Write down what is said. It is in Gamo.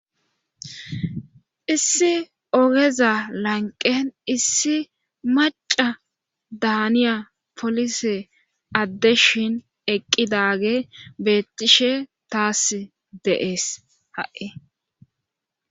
Issi ogeza lanqen issi maca daaniya polise addeshin eqqidage beettishe taas deees ha'e.